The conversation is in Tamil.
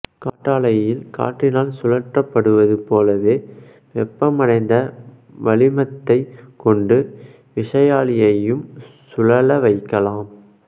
காற்றாலையில் காற்றினால் சுழற்றப்படுவதுபோலவே வெப்பமடைந்த வளிமத்தைக் கொண்டு விசையாழியையும் சுழல வைக்கலாம்